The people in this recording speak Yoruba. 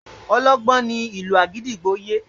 Ọlọ́gbọ́n ní ìlú àgídìgbo yé